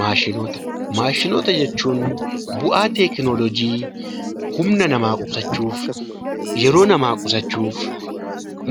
Maashinoota Maashinoota jechuun bu'aa teekinooloojii humna namaa qusachuuf, yeroo namaa qusachuuf,